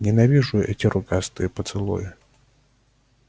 ненавижу эти рукастые поцелуи